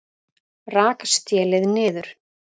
Rak stélið niður